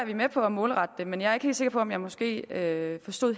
vi med på at målrette det men jeg er ikke sikker på at jeg måske helt forstod